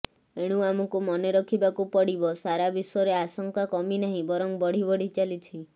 ଏଣୁ ଆମକୁ ମନେ ରଖିବାକୁ ପଡ଼ିବା ସାରା ବିଶ୍ୱରେ ଆଶଙ୍କା କମିନାହିଁ ବରଂ ବଢ଼ିବଢ଼ି ଚାଲିଛି